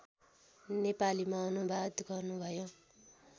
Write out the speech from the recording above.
नेपालीमा अनुवाद गर्नुभयो